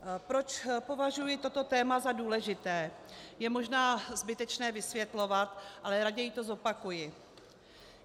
Proč považuji toto téma za důležité, je možná zbytečné vysvětlovat, ale raději to zopakuji.